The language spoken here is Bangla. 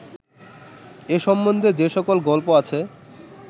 এ সম্বন্ধে যে সকল গল্প আছে